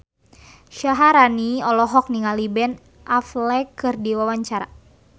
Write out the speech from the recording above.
Syaharani olohok ningali Ben Affleck keur diwawancara